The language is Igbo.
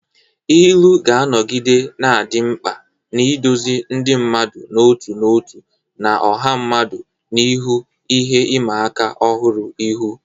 Ilu ga-anọgide na-adị mkpa, na-eduzi ndị mmadụ n'otu n'otu na ọha mmadụ n'ihu ihe ịma aka ọhụrụ ihu.